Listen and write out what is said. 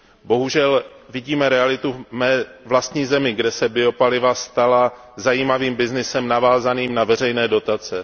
Bohužel vidím realitu v mé vlastní zemi, kde se biopaliva stala zajímavým byznysem navázaným na veřejné dotace.